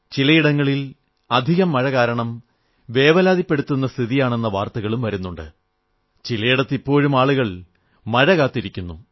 ചിലയിടങ്ങളിൽ അധികം മഴ കാരണം വേവലാതിപ്പെടുത്തുന്ന സ്ഥിതിയാണെന്ന വാർത്തകളും വരുന്നുണ്ട് ചിലയിടങ്ങളിൽ ഇപ്പോഴും ആളുകൾ മഴ കാത്തിരിക്കുന്നു